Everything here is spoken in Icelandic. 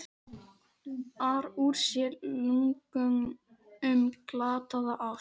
ar úr sér lungun um glataða ást.